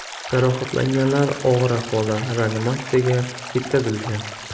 Jarohatlanganlar og‘ir ahvolda reanimatsiyaga yetkazilgan.